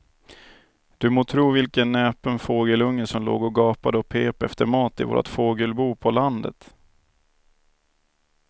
Du må tro vilken näpen fågelunge som låg och gapade och pep efter mat i vårt fågelbo på landet.